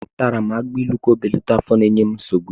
Atara m agbailu ka o belata afọ na-enye m nsogbu.